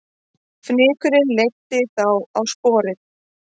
Fnykurinn leiddi þá á sporið